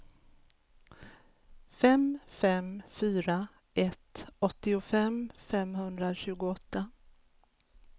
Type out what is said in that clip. fem fem fyra ett åttiofem femhundratjugoåtta